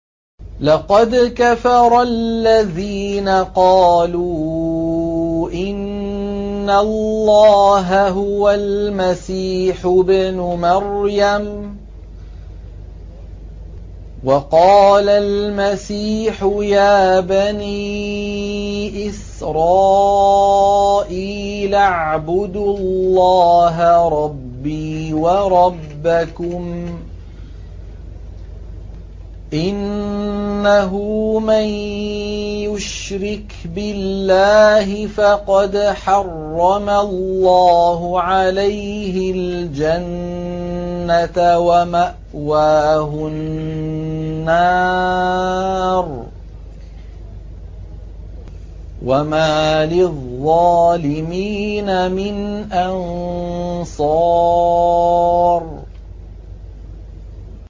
لَقَدْ كَفَرَ الَّذِينَ قَالُوا إِنَّ اللَّهَ هُوَ الْمَسِيحُ ابْنُ مَرْيَمَ ۖ وَقَالَ الْمَسِيحُ يَا بَنِي إِسْرَائِيلَ اعْبُدُوا اللَّهَ رَبِّي وَرَبَّكُمْ ۖ إِنَّهُ مَن يُشْرِكْ بِاللَّهِ فَقَدْ حَرَّمَ اللَّهُ عَلَيْهِ الْجَنَّةَ وَمَأْوَاهُ النَّارُ ۖ وَمَا لِلظَّالِمِينَ مِنْ أَنصَارٍ